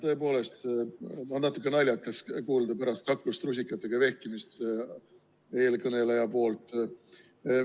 Tõepoolest on natuke naljakas vaadata pärast kaklust rusikatega vehkimist eelkõneleja poolt.